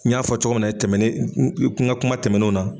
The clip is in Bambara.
N y'a fɔ cogo min na tɛmɛnen n ka kuma tɛmɛnenw na.